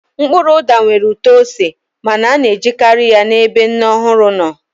Mkpụrụ ụda nwere ụtọ ose ma a na-ejikarị ya n'ebe nne ọhụrụ nọ